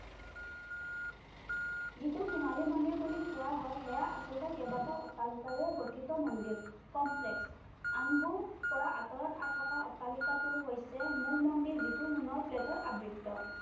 যিটো সোণালী মন্দিৰ বুলি কোৱা হয়, সেয়া আচলতে কেইবাটাও অট্টালিকাৰে গঠিত মন্দিৰ, complex আনবোৰৰ পৰা আঁতৰত থকা অট্টালিকাটো হৈছে মূল মন্দিৰ, যিটো সোণৰ plate ৰে আবৃত্ত।